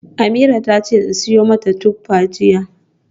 Ameerah tace in siyo mata tuffa jiya.